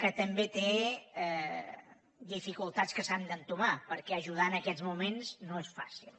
que també té dificultats que s’han d’entomar perquè ajudar en aquests moments no és fàcil